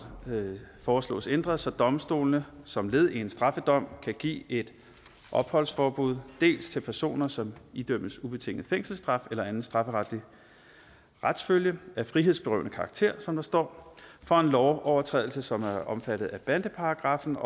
foreslås ændret så domstolene som led i en straffedom kan give et opholdsforbud dels til personer som idømmes ubetinget fængselsstraf eller anden strafferetlig retsfølge af frihedsberøvende karakter som der står for en lovovertrædelse som er omfattet af bandeparagraffen